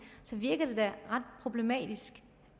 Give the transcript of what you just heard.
så virker det da ret problematisk